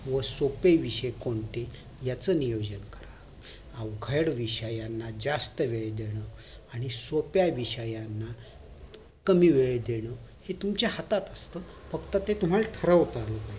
व सोपे विषय कोणते याच नियोजन करा अवघड विषयांना जास्त वेळ देणं आणि सोप्या विषयांना कमी वेळ देणं हे तुमच्या हातात असत फक्त ते तुम्हाला ठरवता आलं पाहिजे